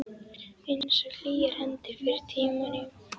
Einsog hlýjar hendurnar fyrr í tímanum.